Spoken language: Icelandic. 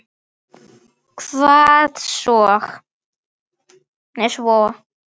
Hvað svo?